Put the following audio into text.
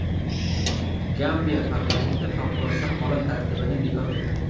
Gambiya parlamenti favqulodda holat tartibini bekor qildi.